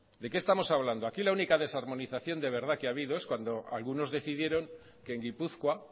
de qué estamos hablando aquí la única desarmonización de verdad que ha habido es cuando algunos decidieron que en gipuzkoa